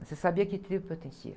Você sabia a que tribo pertencia.